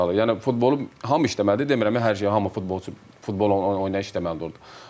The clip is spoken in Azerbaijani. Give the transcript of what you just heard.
Yəni futbolu hamı işləməlidir, demirəm hər şey hamı futbolçu, futbol oyunu işləməlidir orda.